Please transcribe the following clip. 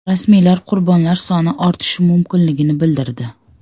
Rasmiylar qurbonlar soni ortishi mumkinligini bildirdi.